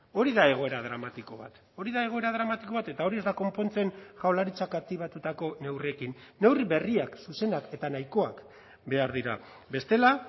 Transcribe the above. hori da egoera dramatiko bat hori da egoera dramatiko bat eta hori ez da konpontzen jaurlaritzak aktibatutako neurriekin neurri berriak zuzenak eta nahikoak behar dira bestela